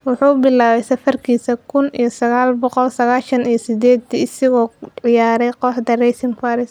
Wuxuu bilaabay safarkiisa kun iyo saqal boqol saqashan iyo sideeti isagoo ku ciyaaray kooxda Racing Paris.